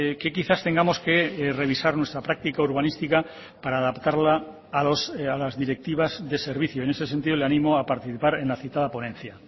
que quizás tengamos que revisar nuestra práctica urbanística para adaptarla a las directivas de servicio en ese sentido le animo a participar en la citada ponencia